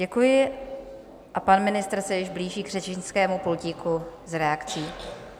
Děkuji a pan ministr se již blíží k řečnickému pultíku s reakcí.